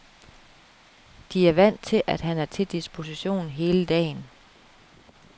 De er vant til, at han er til disposition hele dagen.